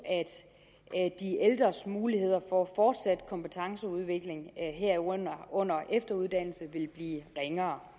at de ældres muligheder for fortsat kompetenceudvikling herunder efteruddannelse vil blive ringere